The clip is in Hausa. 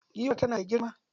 Giwar tana da girma.